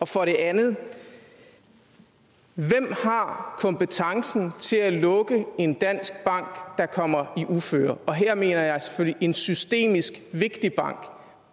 for det andet hvem har kompetencen til at lukke en dansk bank der kommer i uføre og her mener jeg selvfølgelig en systemisk vigtig bank